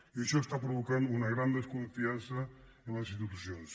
i això provoca una gran desconfiança en les institucions